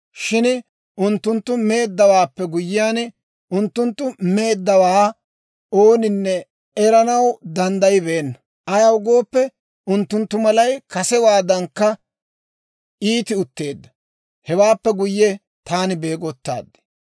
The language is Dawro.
Shin unttuntta meeddawaappe guyyenna, unttunttu meeddawaa ooninne eranaw danddayibeenna; ayaw gooppe, unttunttu malay kasewaadankka iiti utteedda. Hewaappe guyye taani beegottaad.